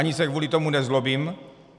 Ani se kvůli tomu nezlobím.